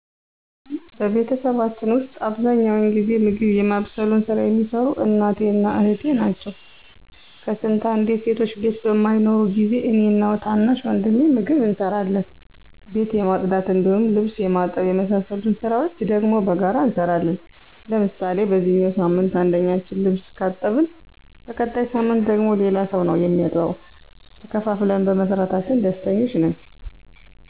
በቤተሰባችን ዉስጥ አብዛኛውን ጊዜ ምግብ የማብሰሉን ሥራ የሚሰሩት እናቴ እና እህቴ ናቸው። ከስንት አንዴ ሴቶች ቤት በማይኖሩ ጊዜ እኔ እና ታናሽ ወንድሜ ምግብ እንሰራለን። ቤት የማፅዳት እንዲሁም ልብስ የማጠብ የመሳሰሉትን ስራዎች ደግሞ በጋራ እንሰራለን። ለምሳሌ በዚኛው ሳምንት አንደኛችን ልብስ ካጠብን በቀጣይ ሳምንት ደግሞ ሌላ ሰው ነው እሚያጥበው። ተከፋፍለን በመስራታችን ደስተኞች ነን።